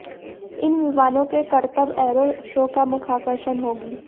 इन विमानों के करतब एरो शो का मुख्य आकर्षण होगी